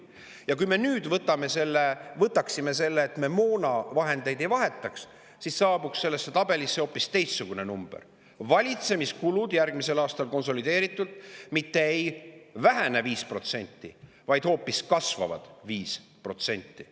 Ja kui me nüüd võtaksime selle, et me moonavahendeid ei, siis selles tabelis hoopis teistsugune number: valitsemiskulud konsolideeritult järgmisel aastal mitte ei vähene 5%, vaid hoopis kasvavad 5%.